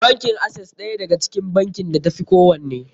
Bankin Access ɗaya daga cikin bankin da ta fi kowanne.